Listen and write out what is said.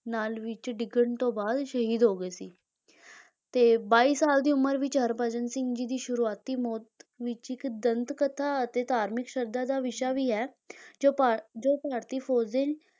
ਨਾਲੇ ਵਿੱਚ ਡਿੱਗਣ ਤੋਂ ਬਾਅਦ ਸ਼ਹੀਦ ਹੋ ਗਏ ਸੀ ਤੇ ਬਾਈ ਸਾਲ ਦੀ ਉਮਰ ਵਿੱਚ ਹਰਭਜਨ ਸਿੰਘ ਜੀ ਦੀ ਸ਼ੁਰੂਆਤੀ ਮੌਤ ਵਿੱਚ ਇੱਕ ਦੰਤਕਥਾ ਅਤੇ ਧਾਰਮਿਕ ਸ਼ਰਧਾ ਦਾ ਵਿਸ਼ਾ ਵੀ ਹੈ ਜੋ ਭਾਰ~ ਜੋ ਭਾਰਤੀ ਫੌਜ ਦੇ